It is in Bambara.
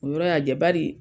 O yɔrɔ y'a jɛ . Bari